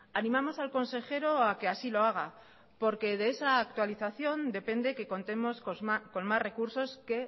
animamos al consejero a que así lo haga porque de esa actualización depende que contemos con más recursos que